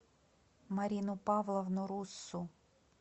марину павловну руссу